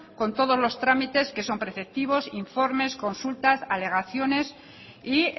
con todos los trámites que son preceptivos informes consultas alegaciones y